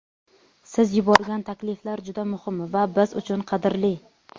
Siz yuborgan takliflar juda muhim va biz uchun qadrli.